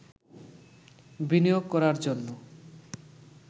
বিনিয়োগ করার জন্য